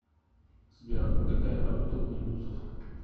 сбер какая валюта у индусов